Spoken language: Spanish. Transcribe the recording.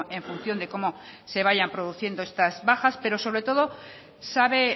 en función de cómo se vayan produciendo estas bajas pero sobre todo sabe